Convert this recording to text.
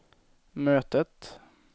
mötet